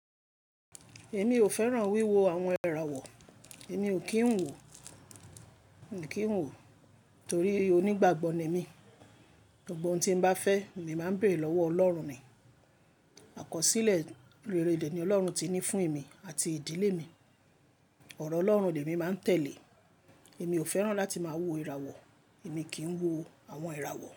Èmi ò fẹ́ràn wíwo àwọn ìràwọ̀. Èmi ò kí ń wò, ò kí ń wò torí onígbàgbọ́ ni mí. Gbogbo ohun tí n bá fẹ́ emi máa ń béèrè lọ́wọ́ Ọlọ́run ni. Àkọsílẹ̀ rere de ni Ọlọ́run ti ní fún èmi àti ìdílé mi. Ọ̀rọ̀ Ọlọ́run ni èmi máa ń tẹ̀lé. Èmi ò fẹ́ràn láti máa wo ìràwọ̀, èmi kì í wo àwọn ìràwọ̀.